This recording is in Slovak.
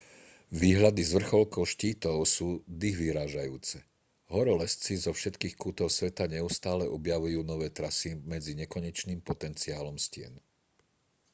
výhľady z vrcholkov štítov sú dychvyrážajúce horolezci zo všetkých kútov sveta neustále objavujú nové trasy medzi nekonečným potenciálom stien